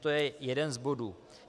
To je jeden z bodů.